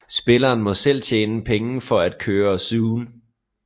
Spilleren må selv tjene penge for at køre zooen